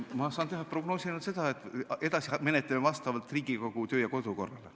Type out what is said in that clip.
Ma saan teha ainult selle prognoosi, et edasi me menetleme seda vastavalt Riigikogu kodu- ja töökorrale.